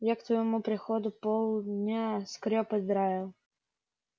я к твоему приходу полдня скрёб и драил